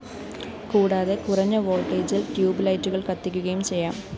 കൂടാതെ കുറഞ്ഞ വോള്‍ട്ടേജില്‍ ട്യൂബ്‌ ലൈറ്റുകള്‍ കത്തിക്കുകയും ചെയ്യാം